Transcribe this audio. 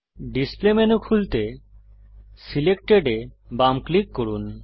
display menu খুলতে selected এ বাম ক্লিক করুন